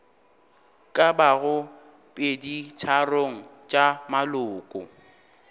ka bago peditharong tša maloko